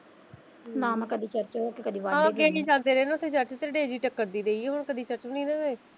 ਨਾ ਮੈਂ ਕਦੇ ਓਥੇ ਚਰਚ ਉਹ ਕਦੀ ਚਰਚ ਨਹੀਂ ਨਾ ਗਏ।